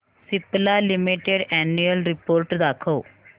Cipla limited annual report दाखव